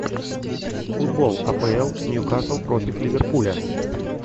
футбол апл ньюкасл против ливерпуля